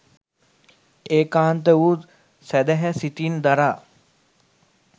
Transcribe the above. ඒකාන්ත වූ සැදැහැ සිතින් දරා